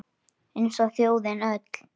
Eins og þjóðin öll